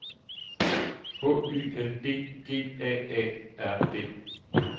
H Y L D G A A R D